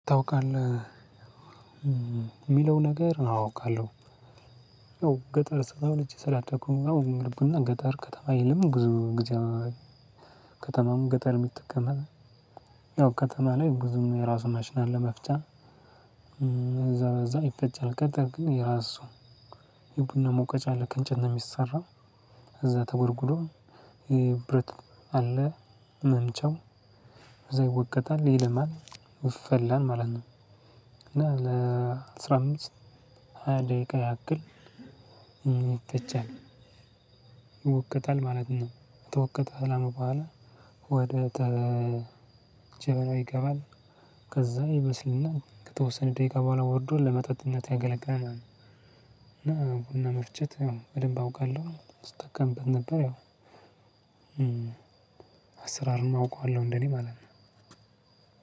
ታውቃለህ? የሚለው ነገር አዎ አውቃለሁ። ገጠር ስላልቼ ስላደኩኝ ነው ልቡና ገጠር ከተማ የለም ብዙ ጊዜ። ከተማም ገጠር የምትቀመጥ። ያው ከተማ ላይ ብዙም የራሱ ማሽና መፍጫ እዛ በዛ ይፈጫል። ገጠር ግን የራሱ የቡና ሞቀጫ አለ ከእንጨት ነው የሚሰራው። እዛ ተጎድጉዶ የብረት አለ መምቻው እዛ ይወቀጣል ይለማል ይፈላል ማለት ነው። እና ለአስራ አምስት ሃያ ደቂቃ ያክል። ይትቻል ይወቀታል ማለት ነው። ተወቀተህ በኋላ ወደ ተ ጀበናው ይገባል። ከዛ ይበስልና ከተወሰነ ደቂቃ በኋላ ወርዶ ለመጠጥነት ያገለግላል ማለት ነው። እና ቡና መፍጨት ያው በደንብ አውቃለሁ ስጠቀምት ነበር። ያው አሰራሩም አውቀዋለሁ እንደኔ ማለት ነው።